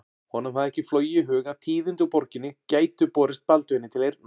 Honum hafði ekki flogið í hug að tíðindi úr borginni gætu borist Baldvini til eyrna.